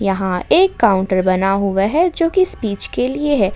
यहां एक काउंटर बना हुआ है जो की स्पीच के लिए है।